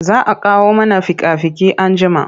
Za a kawo mana fika-fiki anjima.